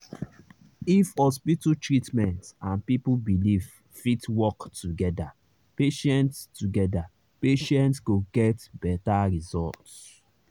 if hospital treatment and people belief fit work together patients together patients go get better results.